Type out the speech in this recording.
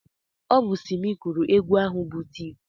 Ọ bụ Simi gụrụ egwu a bụ Tif.